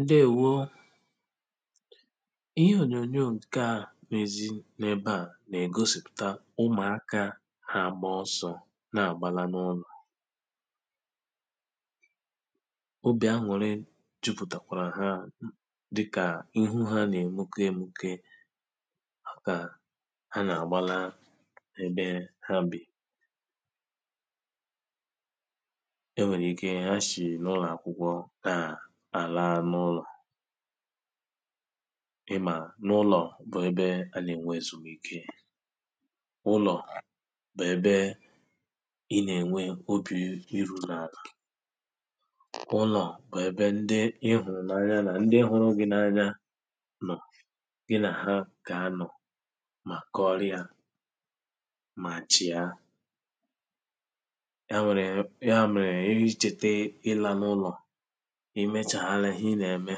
ndewȯ ihe ònyònyò nke à na-èzi n’ebe à nà-ègosìpụ̀ta ụmụ̀aka ha bà ọsọ̇ na-àgbala n’ọnụ̇ à àla n’ụlọ̀ i mà n’ụlọ̀ bụ ebe a nà-ènwe èzùmike ụlọ̀ bụ ebe a nà-ènwe obì iru̇ n’àlà ụlọ̀ bụ ebe ndi ihu̇rù n’anya nà ndi hụrụ gị n’anya nọ̀ gị nà ha kà anọ̀ mà kọrịa mà chiȧ ì mechàhàalẹ̀ i nà-eme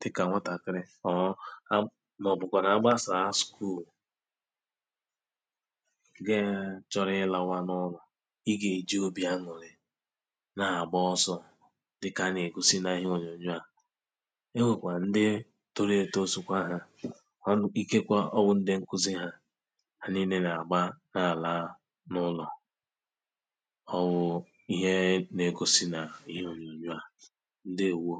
dịkà nwatàkịrị, ọọ̇ a màọbụ̀kwà nà agbasàa school gaa chọrọ ihe lawa n’ụlọ̀ ị gà-èji obi aṅụ̀rị na-àgba ọsọ̇ dịkà a nà-èkusi na ihe ònyònyo à e nwèkwà ndị toro etoosikwa ha ọ n, ikekwa ọ wụ̇ ndi nkuzi ha ha niile nà-àgba n’àlàa n’ụlọ̀ ọwụ̇ ihe na-ekosi n’ihe ònyònyò à ǹdewȯ